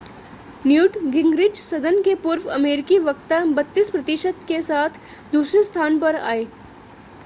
Newt Gingrich सदन के पूर्व अमेरिकी वक्ता 32 प्रतिशत के साथ दूसरे स्थान पर आए